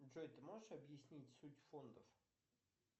джой ты можешь объяснить суть фондов